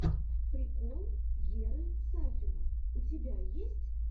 прикол геры сафина у тебя есть